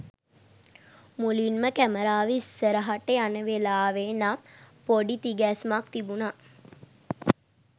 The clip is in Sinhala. මුලින්ම කැමරාව ඉස්සරහට යන වෙලාවේ නම් ‍පොඩි තිගැස්මක් තිබුණා.